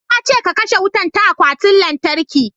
Na ce ka kashe wutan ta akwatin lantarki"